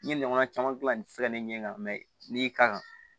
N ye ɲɔgɔnna caman gilan nin fɛn ne ɲɛ kan n'i kan